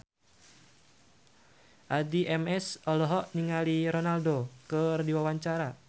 Addie MS olohok ningali Ronaldo keur diwawancara